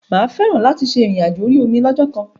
Mà á fẹ́ràn láti ṣe ìrìn àjò orí omi lọ́jọ́kan.